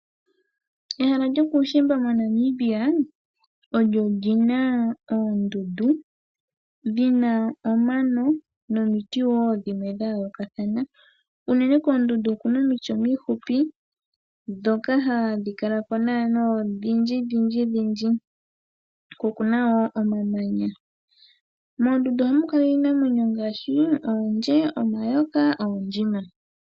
Ehala lyokuushimba monamibia lyo lina oondundu dhina omano nomiti wo dhimwe dha yoolokathana. Unene koondundu okuna omiti omihupi ndhoka hadhi kala naanaa odhindji dhindji dhindji ko okuna wo omamanya . Moondundu ohamu kala iinamwenyo ngaashi oondje, omayoka, noondjima.